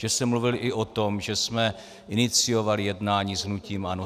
Že jsem mluvil i o tom, že jsme iniciovali jednání s hnutím ANO.